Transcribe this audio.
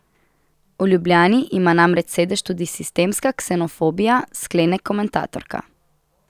V Ljubljani ima namreč sedež tudi sistemska ksenofobija, sklene komentatorka.